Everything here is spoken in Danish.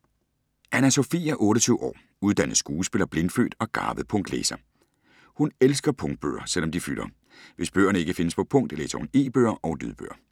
Anna Sophie er 28 år, uddannet skuespiller, blindfødt og garvet punktlæser. Hun elsker punktbøger, selv om de fylder. Hvis bøgerne ikke findes på punkt, læser hun e-bøger og lydbøger.